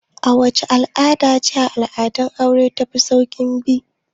Wacce al'ada ce cikin al'adun aure ta fi saukin bi?